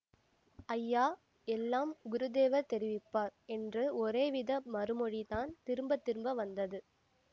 ஐயா எல்லாம் குருதேவர் தெரிவிப்பார் என்று ஒரேவித மறுமொழிதான் திரும்ப திரும்ப வந்தது